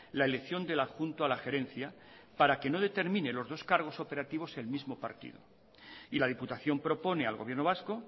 la elección del adjunto a la gerencia para que no determine los dos cargos operativos el mismo partido y la diputación propone al gobierno vasco